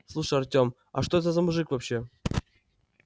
слушай артём а что это за мужик вообще